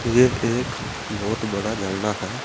ये एक बहोत बड़ा झरना है।